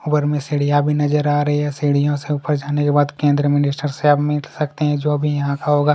उपर में सीडियां भी नजर आ रही है सीड़ियों से उपर जाने के बाद केंद्र मिनिस्टर से आप लोग मिल सकते है जो अभी यहाँ का होगा।